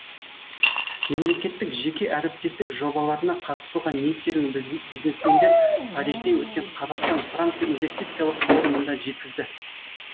мемлекеттік жеке әріптестік жобаларына қатысуға ниеттерін бизнесмендер парижде өткен қазақстан франция инвестициялық форумында жеткізді